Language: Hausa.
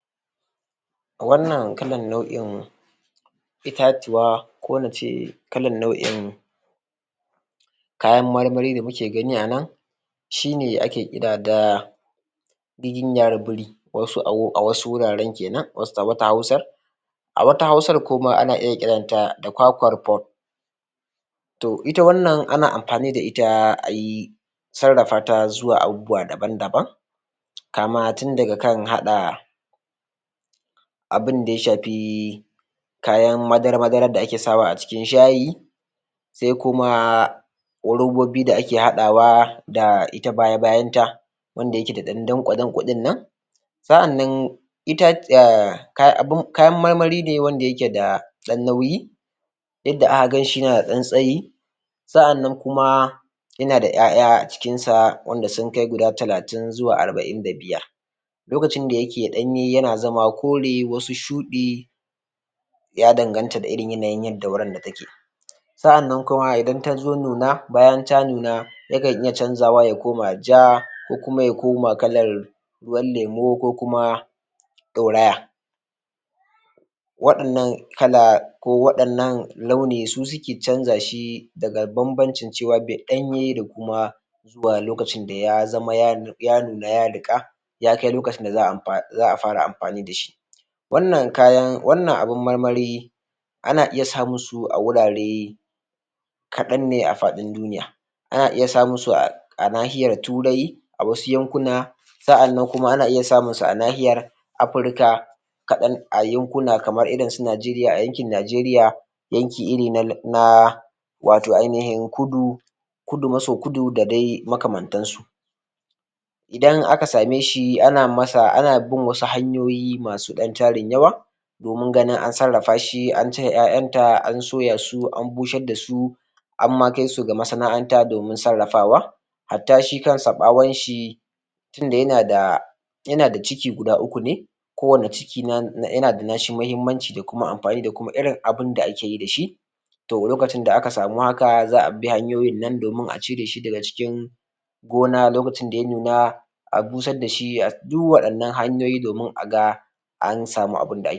? Rashin samun ingantaccen tsaro yana janyo matsaloli masu tarin yawa ta fannoni daban daban wanda suka shafi rashin samu ingantaccen tsaro ga su manoma wurin ganin sunje sun noma abincin su yadda ya kamata musamman a yanki da nake a najeriya a najeriya ma a yanki na arewa arewa maso gabashi rashin tsaro ya haifar da matsala ƙwarai da gaske wurin samun wadataccen abinci ga al'umma ta yadda na tarwatsa manoma an wargaza su an sallame su a gonakin su da garuruwansu an fantsamar da su cikin duniya sun tafi sun bar gonakin su saboda rashin tsaro a garuruwan su sun tafi sun bar kasuwannin su da kasuwancin da suke yi sun tafi sun bar noma da suke yi da ƙasan nomar da take wannan wuri domin su gudu da lafiyar su su tsira wannan kuma ba ƙaramin mastala bane rashin ganin wurin fama da rashin abinci da muke yi fama da shi a wannan yanayi da kuma tsadar abinci da ake fama da shi a wannan ƙarni da muke fama da shi rashin samun ingantaccen tsaro yana ƙara haifar da da matsala ta su kansu wanda suke noma sun saka kuɗaɗen su a cikin harkan noma musamman a irin watau ƙungiyoyi wanda suke bada bashi na gwamnati da wanda ba na gwamnati ba da na hukumomi wurin ganin an noma musu abinci sun biya mutane, su ma ba sa iya haka ganin cewar ko da sun bada wannan kuɗi babu ingantaccen tsaron wurin noman da za a yi a samu irin abincin da ake so kuma shi kansa ma koda manoma wanda zai noma abinci ba don ya sayar ba ko don ya ci yana tsaoron kada ya noma abinci yaje ya ajiye a yanayi na ƙunci da wahala da ake fama da wahala da ake ciki da rashin tsaro shi kanshi manomi ɗin yana tsoron yaje shi ɗin ya noma abinci ɗin domin idan ya noma ma ɓarayi zasu zo su ɓalla masa gida su sace wasu abinci har ma su masa barazana ga rayuwarsa wasu kam ma har su ɗauki rayuwan wasu domin su kwashe musu kayan abinci su hana su abinci to wannan ma kaɗan daga cikin abubuwan da suke janyowa ne ba a samun wadataccen abinci.